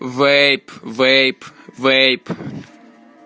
вейп вейп вейп